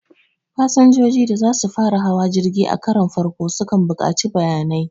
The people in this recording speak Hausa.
Fasinjoji da za su fara hawa jirgi a karon farko sukan buƙaci bayanai